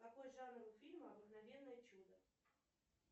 какой жанр у фильма обыкновенное чудо